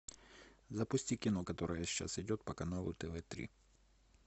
запусти кино которое сейчас идет по каналу тв три